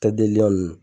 Kɛ delili